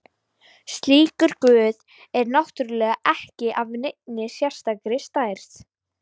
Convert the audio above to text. Slíkur guð er náttúrulega ekki af neinni sérstakri stærð.